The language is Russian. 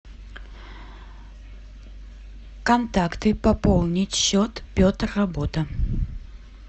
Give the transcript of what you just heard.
контакты пополнить счет петр работа